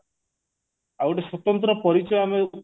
ଆଉ ଗୋଟେ ସ୍ଵତନ୍ତ୍ର ପରିଚୟ ଆମେ